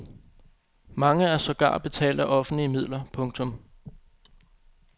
Mange er sågar betalt af offentlige midler. punktum